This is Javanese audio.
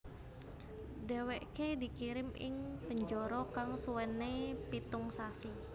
Dheweke dikirim ing penjara kang suwene pitung sasi